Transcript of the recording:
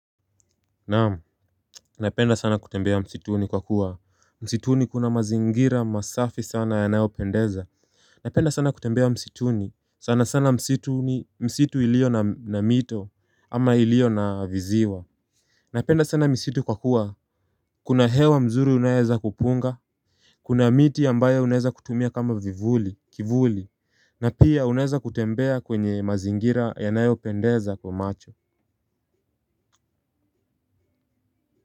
Naamu, napenda sana kutembea msituni kwa kuwa msituni kuna mazingira masafi sana yanayopendeza. Napenda sana kutembea msituni. Sana sana msituni, msitu ilio na mito ama ilio na viziwa. Napenda sana misitu kwa kuwa kuna hewa mzuri unayoweza kupunga. Kuna miti ambayo unaeza kutumia kama vivuli, kivuli. Na pia unaeza kutembea kwenye mazingira yanayopendeza kwa macho. Kwa hivyo.